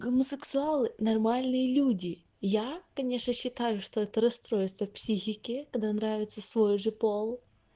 гомосексуалы нормальные люди я конечно считаю что это расстройство психики когда нравится свой уже пол